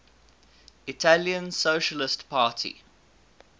italian socialist party